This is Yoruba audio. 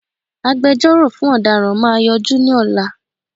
Agbẹjọ́rọ̀ fún ọ̀daràn máa yọjú ní ọ̀la